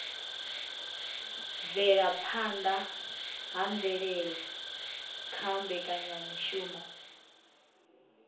bvelaphanda ha mvelele kha mbekanyamishumo